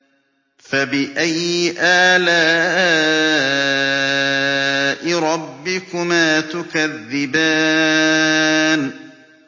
فَبِأَيِّ آلَاءِ رَبِّكُمَا تُكَذِّبَانِ